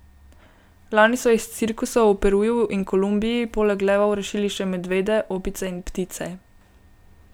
Lani so iz cirkusov v Peruju in Kolumbiji poleg levov rešili še medvede, opice in ptice.